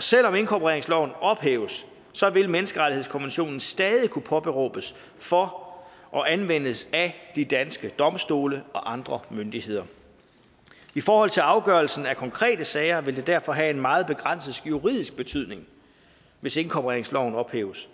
selv om inkorporeringsloven ophæves vil menneskerettighedskonventionen stadig kunne påberåbes for og anvendes af de danske domstole og andre myndigheder i forhold til afgørelsen af konkrete sager vil det derfor have en meget begrænset juridisk betydning hvis inkorporeringsloven ophæves